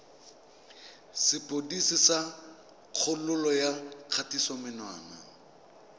sepodisi sa kgololo ya kgatisomenwa